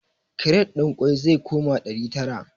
Kiret ɗin ƙwai zai koma ɗari tara